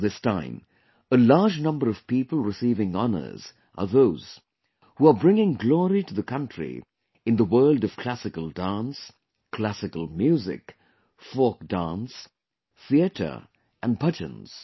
This time, a large number of people receiving honors are those who are bringing glory to the country in the world of classical dance, classical music, folk dance, theater and bhajans